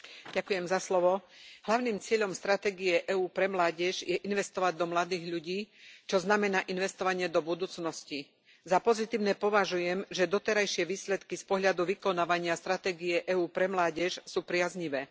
Vážená pani predsedajúca, hlavným cieľom stratégie EÚ pre mládež je investovať do mladých ľudí, čo znamená investovanie do budúcnosti. Za pozitívne považujem, že doterajšie výsledky z pohľadu vykonávania stratégie EÚ pre mládež sú priaznivé.